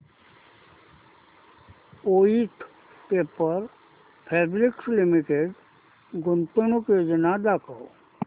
Voith paper fabrics limited गुंतवणूक योजना दाखव